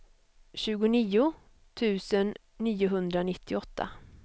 tjugonio tusen niohundranittioåtta